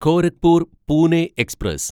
Gorakhpur Pune express